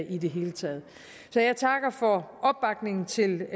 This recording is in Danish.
i det hele taget så jeg takker for opbakningen til